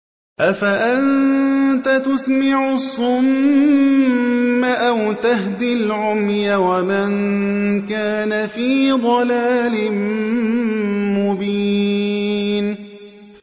أَفَأَنتَ تُسْمِعُ الصُّمَّ أَوْ تَهْدِي الْعُمْيَ وَمَن كَانَ فِي ضَلَالٍ مُّبِينٍ